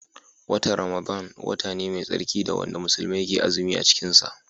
Watan Ramadana wata ne mai tsarki wanda musulmai ke azumi cikin sa